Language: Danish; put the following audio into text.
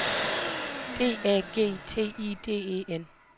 D A G T I D E N